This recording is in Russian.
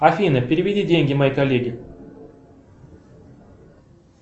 афина переведи деньги моей коллеге